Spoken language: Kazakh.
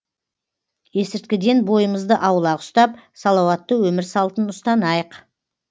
есірткіден бойымызды аулақ ұстап салауатты өмір салтын ұстанайық